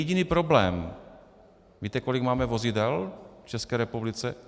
Jediný problém - víte, kolik máme vozidel v České republice?